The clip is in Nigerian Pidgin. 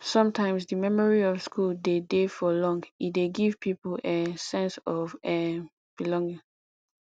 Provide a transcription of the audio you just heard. sometimes di memory of school de dey for long e dey give pipo um sense of um belonging